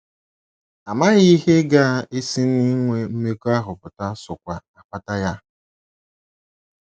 Amaghị ihe ga - esi n’inwe mmekọahụ pụta sokwa akpata ya.